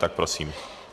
Tak prosím.